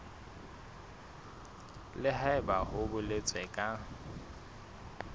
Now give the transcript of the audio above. le haebe ho boletswe ka